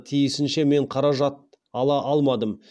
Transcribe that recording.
тиісінше мен қаражат ала алмадым